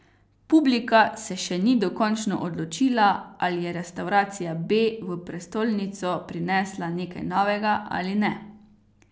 Publika se še ni dokončno odločila, ali je restavracija B v prestolnico prinesla nekaj novega ali ne.